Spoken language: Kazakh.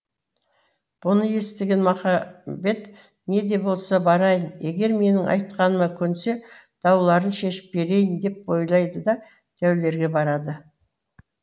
бұны естіген махамбет не де болса барайын егер менің айтқаныма көнсе дауларын шешіп берейін деп ойлайды да дәулерге барады